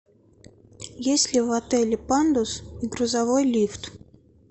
есть ли в отеле пандус и грузовой лифт